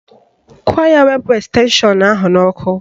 Gwa ya wepụ estenshọn ahụ n'ọkụ